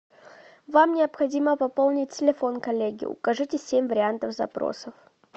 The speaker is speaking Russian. вам необходимо пополнить телефон коллеги укажите семь вариантов запросов